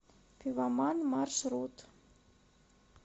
пивоман маршрут